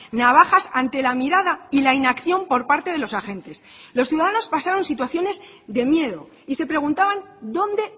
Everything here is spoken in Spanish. navajas ante la mirada y la inacción por parte de los agentes los ciudadanos pasaron situaciones de miedo y se preguntaban dónde